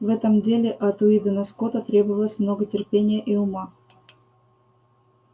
в этом деле от уидона скотта требовалось много терпения и ума